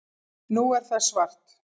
Nú er það svart